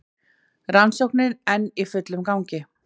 Rannsóknin enn í fullum gangi